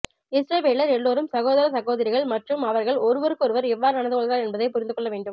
இஸ்ரவேலர் எல்லாரும் சகோதர சகோதரிகள் மற்றும் அவர்கள் ஒருவருக்கொருவர் எவ்வாறு நடந்துகொள்கிறார்கள் என்பதைப் புரிந்துகொள்ள வேண்டும்